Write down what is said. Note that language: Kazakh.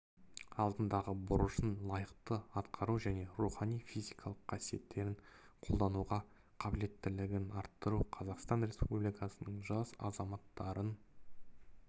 алдындағы борышын лайықты атқару және рухани физикалық қасиеттерін қолдануға қабілеттілігін арттыру қазақстан республикасының жас азаматтарын